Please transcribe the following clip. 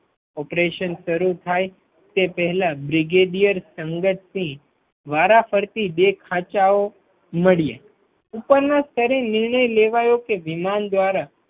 Operation શરૂ થાય તે પહેલા બ્રિગેડિયર સદતસિંહ વારાફરતી દેખ-ખાચાઓ મળી ઉપરના સ્તરે નિર્ણય લેવાયો કે વિમાન દ્વારા